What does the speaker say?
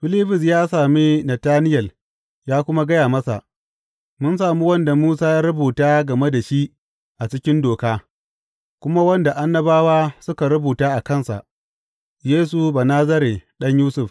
Filibus ya sami Natanayel ya kuma gaya masa, Mun sami wanda Musa ya rubuta game da shi a cikin Doka, kuma wanda annabawa suka rubuta a kansa, Yesu Banazare, ɗan Yusuf.